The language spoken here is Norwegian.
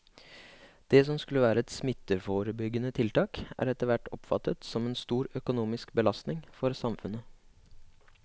Det som skulle være et smitteforebyggende tiltak er etterhvert oppfattet som en stor økonomisk belastning for samfunnet.